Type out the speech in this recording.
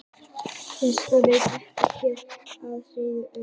vísindavefurinn veit ekki hver afdrif þeirra urðu